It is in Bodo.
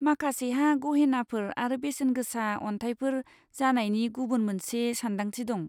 माखासेहा गहेनाफोर आरो बेसेनगोसा अन्थाइफोर जानायनि गुबुन मोनसे सान्दांथि दं।